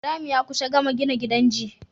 Ibrahim ya kusa gama gina gidan shi